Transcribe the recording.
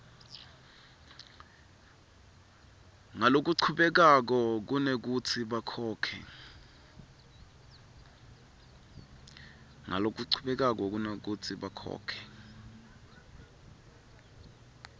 ngalokuchubekako kunekutsi bakhokhe